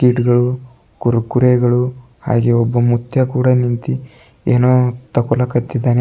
ಈಟ್ಗಳು ಕುರ್ಕುರೆಗಳು ಹಾಗೆ ಒಬ್ಬ ಮುತ್ಯ ಕೂಡ ನಿಂತಿ ಏನೋ ತಗೊಳಕತ್ತಿದ್ದಾನೆ.